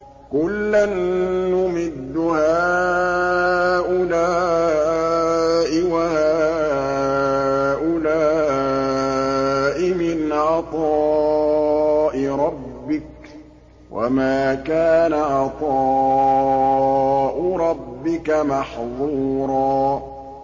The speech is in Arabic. كُلًّا نُّمِدُّ هَٰؤُلَاءِ وَهَٰؤُلَاءِ مِنْ عَطَاءِ رَبِّكَ ۚ وَمَا كَانَ عَطَاءُ رَبِّكَ مَحْظُورًا